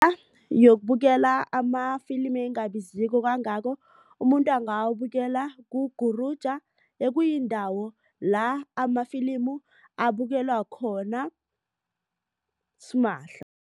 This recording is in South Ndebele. Yokubukela amafilimi elingabiziko kangako umuntu angawabukela ku-Guruja ekuyindawo la amafilimi abukelwa khona simahla.